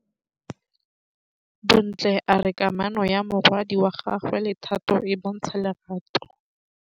Bontle a re kamanô ya morwadi wa gagwe le Thato e bontsha lerato.